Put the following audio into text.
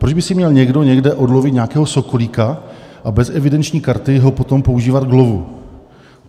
Proč by si měl někdo někde odlovit nějakého sokolíka a bez evidenční karty ho potom používat k lovu?